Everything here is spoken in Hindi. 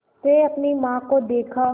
से अपनी माँ को देखा